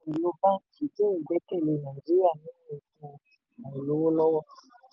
àìtóòtú ohun-èlò báńkì dín ìgbẹ́kẹ̀lé nàìjíríà nínú ètò àìlówólọ́wọ́.